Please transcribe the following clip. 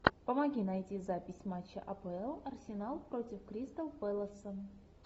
помоги найти запись матча апл арсенал против кристал пэласа